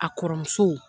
A kɔrɔmuso